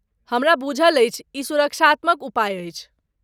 हमरा बुझल अछि, ई सुरक्षात्मक उपाय अछि।